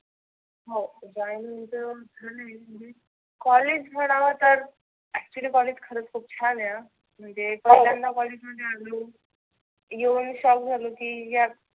हो join तर झाले. कॉलेज म्हणाव तर actually कॉलेज खुप छान आहे हं. म्हणजे पहिल्यांदा कॉलेज मध्ये आलो येऊन चालू झाल की